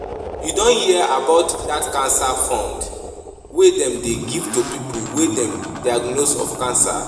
You don hear about dat cancer fund wey dem dey give to people wey dem diagnose of cancer?